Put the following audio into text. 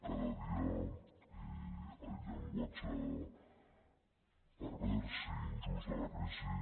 cada dia el llenguatge pervers i injust de la crisi